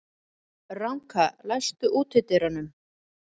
Ranka, læstu útidyrunum.